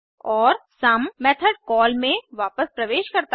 और some method call में वापस प्रवेश करता है